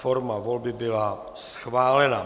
Forma volby byla schválena.